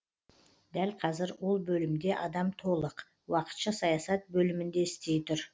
дәл қазір ол бөлімде адам толық уақытша саясат бөлімінде істей тұр